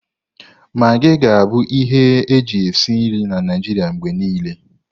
Magii ga-abụ ihe eji esi nri na Naịjirịa mgbe niile.